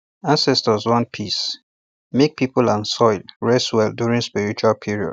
ancestors want peacemake people and soil rest well during spiritual period